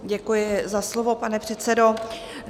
Děkuji za slovo, pane předsedo.